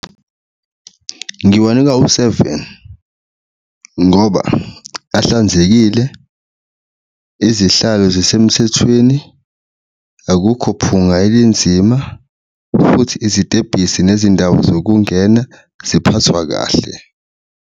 Ngiwanika u-seven ngoba ahlanzekile, izihlalo zisemthethweni, akukho phunga elinzima futhi izitebhisi nezindawo zokungena ziphathwa kahle.